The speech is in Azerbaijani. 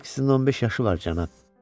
Hər ikisinin 15 yaşı var, cənab.